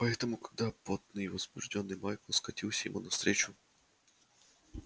поэтому когда потный и возбуждённый майкл скатился ему навстречу